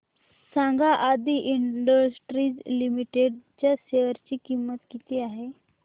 सांगा Aadi industries limited च्या share ची किंमत किती आहे